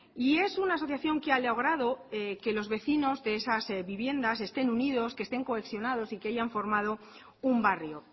y es una asociación que ha logrado que los vecinos de esas viviendas estén unidos que estén cohesionados y que hayan formado un barrio